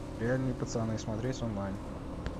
реальные пацаны смотреть онлайн